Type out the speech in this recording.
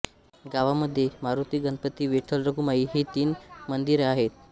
गावामध्ये मारुती गणपती विठ्ठलरखुमाई ही तीन मंदिर आहेत